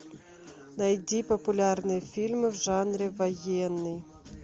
найди популярные фильмы в жанре военный